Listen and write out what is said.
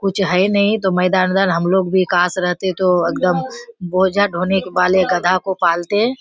कुछ है नहीं तो मैदान-उदान हम लोग भी काश रहते तो एकदम बोझा ढोने वाले गधा को पालते।